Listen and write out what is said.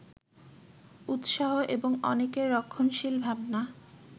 উৎসাহ এবং অনেকের রক্ষণশীল ভাবনা